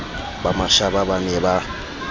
ba mashaba ba ne ba